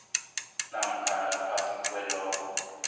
namkha ngaphasi kwalokho